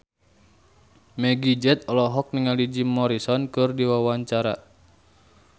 Meggie Z olohok ningali Jim Morrison keur diwawancara